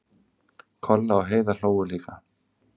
Kolla og Heiða hlógu líka.